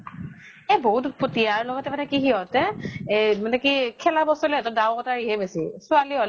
এহ বহুত উৎপতিয়া আৰু লগতে মানে কি সিহঁতে এই মানে কি খেলা বস্তু লৈ সিহঁতৰ দাও কটাৰীহে বেছি। ছোৱালী হʼলে